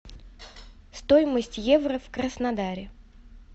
стоимость евро в краснодаре